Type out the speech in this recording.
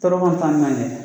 Tɔɔrɔ kɔni t'an ni ɲɔgɔn cɛ